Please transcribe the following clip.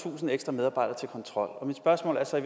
tusind ekstra medarbejdere til kontrol mit spørgsmål er så